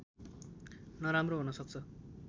नराम्रो हुन सक्छ